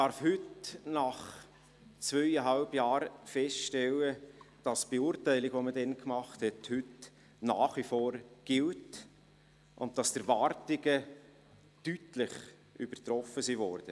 Heute, nach zweieinhalb Jahren, darf ich feststellen, dass die damalige Beurteilung heute nach wie vor gilt und die Erwartungen deutlich übertroffen worden sind.